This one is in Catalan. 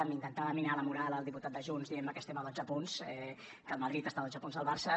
m’intentava minar la moral el diputat de junts dient me que estem a dotze punts que el madrid està a dotze punts del barça